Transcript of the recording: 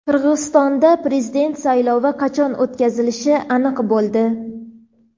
Qirg‘izistonda prezident saylovi qachon o‘tkazilishi aniq bo‘ldi.